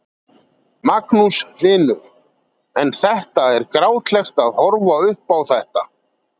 Magnús Hlynur: En þetta er grátlegt að horfa upp á þetta?